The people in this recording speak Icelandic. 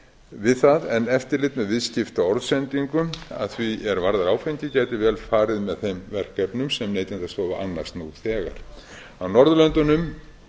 við það en eftirlit með viðskiptaorðsendingum að því er varðar áfengi gæti vel farið með þeim verkefnum sem neytendastofa annast nú þegar á norðurlöndunum